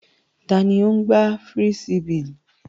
Tani ń gbá fírísíbì?